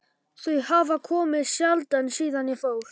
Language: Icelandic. Þau hafa komið sjaldan síðan ég fór.